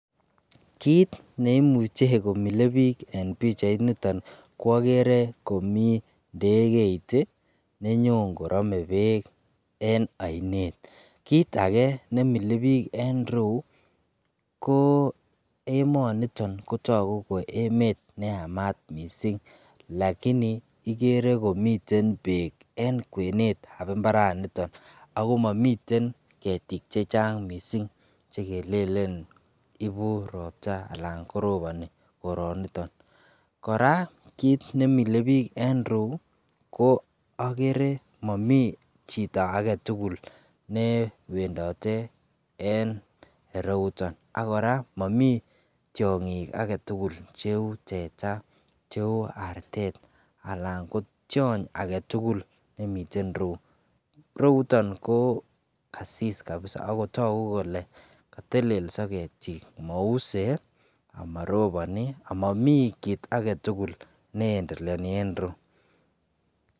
kiiit neimuche komile biik en pichait niton ko ogere komii ndegeit iih nenyoon korome beek en oineet, kiit age nemiile biik en ireuu koo emoniton kotogu ko emet neyamaat mising lakini igere komiten beek en kweneet ab imbaraniton ago momiten ketiik chechang mising chegelelen ibuu roobta alaan koroboni koroniton, koraa kiit nemile biik en ireuu ogere momii chito agetugul newendote en ireuton ak koraa momii tyongiik agetugul cheuu teeta cheuu arteet alan ko tyoony agetugul nemiten ireuu, ireuton koo kasis kabisa kotelelso ketiik mousee amarobonii amamii kiit agetugul neendeleoni en ireuu.